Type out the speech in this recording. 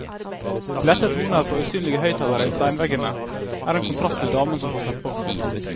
De lette toner fra usynlige høyttalere i steinveggene er en kontrast til damen som passer på.